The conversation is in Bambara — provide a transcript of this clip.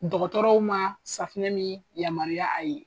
Dɔgɔtɔrɔw ma safinɛ min yamaruya a ye.